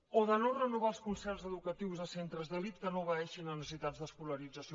o de no renovar els concerts educatius a centres d’elit que no obeeixin a necessitats d’escolarització